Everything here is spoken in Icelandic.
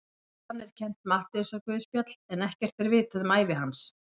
Við hann er kennt Matteusarguðspjall en ekkert er vitað um ævi hans.